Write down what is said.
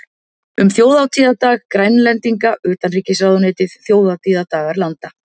Um þjóðhátíðardag Grænlendinga Utanríkisráðuneytið þjóðhátíðardagar landa